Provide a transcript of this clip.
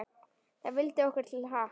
Það vildi okkur til happs.